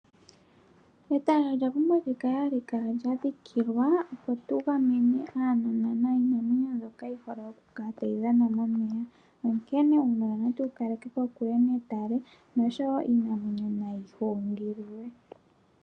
Etale olya pumbwa okukala ha li kala lya dhikilwa opo tugamene uunona niinamwenyo mbyoka yi hole okukala ta yi dhana momeya ,onkene uunona na tu wu kaleke kokule netale nosho iinamwenyo nayi kongololwe.